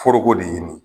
Foroko de ɲini